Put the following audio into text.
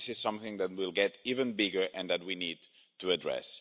this is something that will get even bigger and that we need to address.